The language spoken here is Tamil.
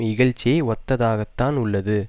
இகழ்ச்சியை ஒத்ததாகத்தான் உள்ளது